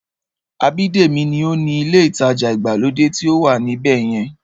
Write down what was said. Abídèmí ní ó ni ilé ìtajà ìgbàlódé tí ó wà ní ibẹ̀yẹn